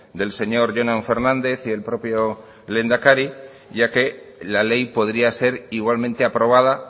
del señor jonan fernández y el propio lehendakari ya que la ley podría ser igualmente aprobada